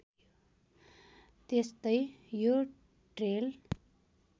त्यसतै यो ट्रेल